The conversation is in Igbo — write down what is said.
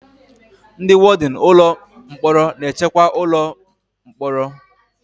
Ndị wọdịn ụlọ mkpọrọ na-echekwa ụlọ mkpọrọ